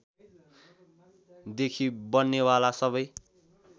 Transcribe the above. देखि बन्नेवाला सबै